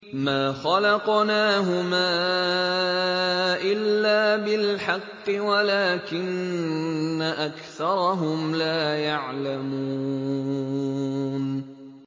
مَا خَلَقْنَاهُمَا إِلَّا بِالْحَقِّ وَلَٰكِنَّ أَكْثَرَهُمْ لَا يَعْلَمُونَ